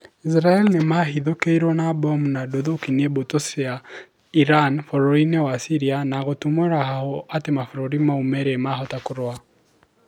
isiraĩri nĩmahithũkĩirwo na bomu na nduthũki nĩ mbũtũ cia Iran bũrũri-inĩ wa Syria na gũtumũra hahu atĩ mabũrũri mau merĩ mahota kũrũa